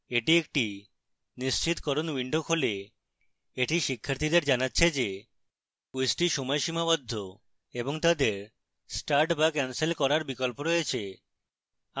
এটি একটি নিশ্চিতকরণ window খোলে এটি শিক্ষার্থীদের জানাচ্ছে যে কুইজটি সময় সীমাবদ্ধ এবং তাদের start বা cancel করার বিকল্প রয়েছে